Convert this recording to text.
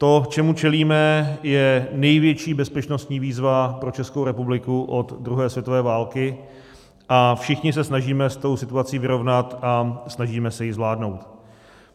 To, čemu čelíme, je největší bezpečnostní výzva pro Českou republiku od druhé světové války, a všichni se snažíme s tou situací vyrovnat a snažíme se ji zvládnout.